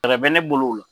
Fɛɛrɛ bɛ ne bolo o la